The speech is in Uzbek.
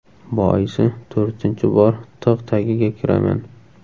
Boisi to‘rtinchi bor tig‘ tagiga kiraman.